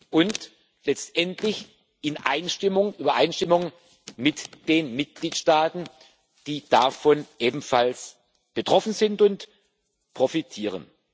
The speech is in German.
und letztendlich in Übereinstimmung mit den Mitgliedstaaten, die davon ebenfalls betroffen sind und profitieren.